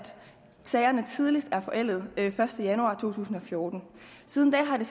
sagerne tidligst er forældet første januar to tusind og fjorten siden da har det